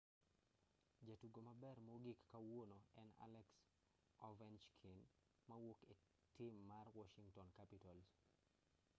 jatugo maber mogik kawuono en alex ovechkin mawuok e tim mar washington capitals